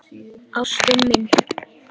Ástin mín!